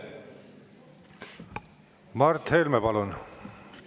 Mart Helme, palun!